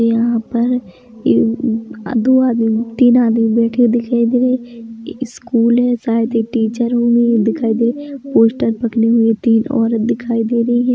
यहाँ पर एक अअअअ दो आदमी तीन आदमी बैठे दिखाई दे रहे है स्कूल है शायद ये टीचर दिखाई दे रहे है पोस्टर पकड़े हुए तीन औरत दिखाई दे रही है।